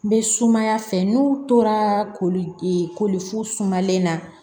N bɛ sumaya fɛ n'u tora koli fu sumalen na